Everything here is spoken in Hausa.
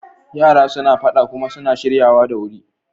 Yara suna faɗa kuma suna shiryawa da wuri.